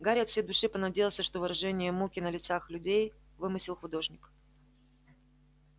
гарри от всей души понадеялся что выражение муки на лицах людей вымысел художника